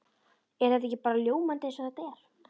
Er þetta ekki bara ljómandi eins og þetta er?